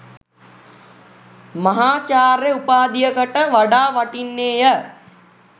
මහාචාර්ය උපාධියකට වඩා වටින්නේය.